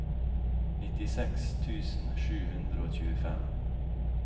nittiseks tusen sju hundre og tjuefem